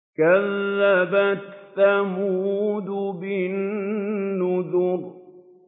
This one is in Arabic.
كَذَّبَتْ ثَمُودُ بِالنُّذُرِ